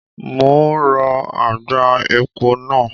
Mo ń rọ àgbá epo náà.